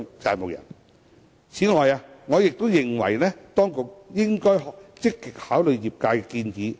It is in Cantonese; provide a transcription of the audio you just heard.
此外，我亦認為當局應該積極考慮業界的建議。